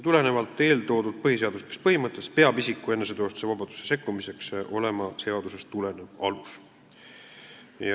Tulenevalt eeltoodud põhiseaduslikest põhimõtetest peab isiku eneseteostuse vabadusse sekkumiseks olema seadusest tulenev alus.